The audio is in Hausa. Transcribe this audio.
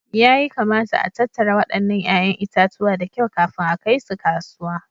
Yayi kamata a tattara wadannan 'ya'yan itatuwa da kyau kafin a kai su kasuwa